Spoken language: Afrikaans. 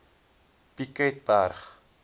piketberg